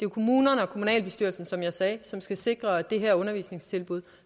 kommunerne og kommunalbestyrelsen som jeg sagde som skal sikre at det her undervisningstilbud